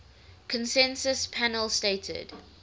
consensus panel stated